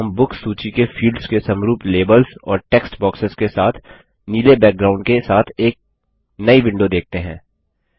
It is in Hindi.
अब हम बुक्स सूची के फील्ड्स के समरूप लेबल्स और टेक्स्ट बॉक्सेस के साथ नीले बैकग्राउंड के साथ एक नई विंडो देखते हैं